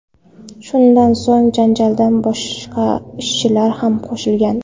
Shundan so‘ng janjalga boshqa ishchilar ham qo‘shilgan.